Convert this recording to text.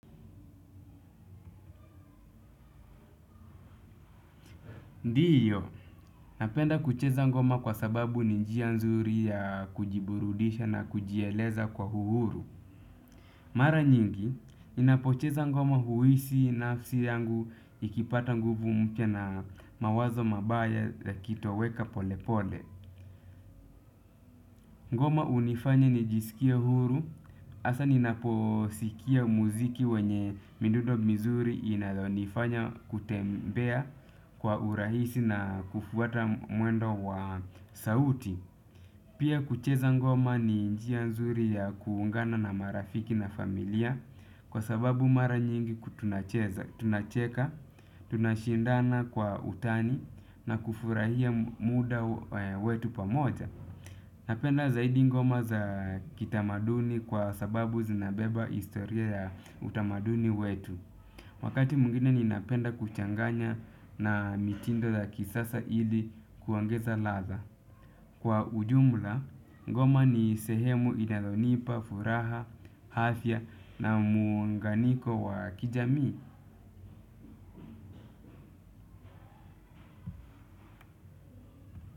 Ndiyo, napenda kucheza ngoma kwa sababu ni njia nzuri ya kujiburudisha na kujieleza kwa uhuru. Mara nyingi, ninapocheza ngoma huhisi nafsi yangu ikipata nguvu mpya na mawazo mabaya yakitoweka pole pole. Ngoma hunifanya nijisikie huru, hasa ninaposikia muziki wenye midundo mizuri inayonifanya kutembea kwa urahisi na kufuata mwendo wa sauti. Pia kucheza ngoma ni njia nzuri ya kuungana na marafiki na familia kwa sababu mara nyingi ku tunacheza, tunacheka, tunashindana kwa utani na kufurahia muda wetu pamoja. Napenda zaidi ngoma za kitamaduni kwa sababu zinabeba historia ya utamaduni wetu. Wakati mwingine ninapenda kuchanganya na mitindo za kisasa ili kuongeza ladha. Kwa ujumla, ngoma ni sehemu inayonipa, furaha, afya na muunganiko wa kijamii.